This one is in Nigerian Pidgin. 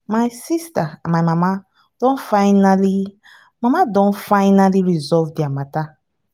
my sister and my mama don finally mama don finally resolve their matter